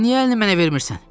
Niyə əlini mənə vermirsən?